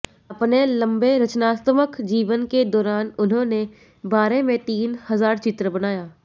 अपने लंबे रचनात्मक जीवन के दौरान उन्होंने बारे में तीन हजार चित्र बनाया